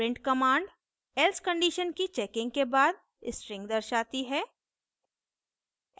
print command else condition की checking के बाद string दर्शाती है